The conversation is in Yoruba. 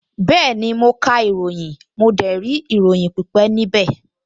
Bẹ́ẹ̀ni, mo ka ìròyìn, mo dẹ̀ rí ìròyìn pípẹ́ níbẹ̀